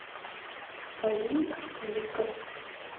алим аталиков